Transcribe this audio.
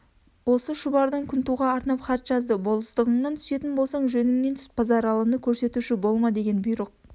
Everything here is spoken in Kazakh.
осы шұбардан күнтуға арнап хат жазды болыстығыңнаң түсетін болсаң жөніңмен түс базаралыны көрсетуші болма деген бұйрық